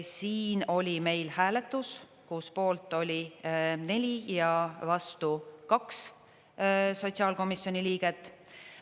Siin oli meil hääletus, kus poolt oli neli ja vastu kaks sotsiaalkomisjoni liiget.